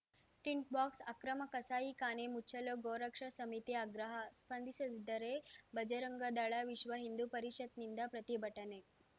tint ಬಾಕ್ಸ್ ಅಕ್ರಮ ಕಸಾಯಿಖಾನೆ ಮುಚ್ಚಲು ಗೋರಕ್ಷಾ ಸಮಿತಿ ಅಗ್ರಹ ಸ್ಪಂದಿಸದಿದ್ದರೆ ಬಜರಂಗದಳ ವಿಶ್ವ ಹಿಂದೂ ಪರಿಷತ್‌ನಿಂದ ಪ್ರತಿಭಟನೆ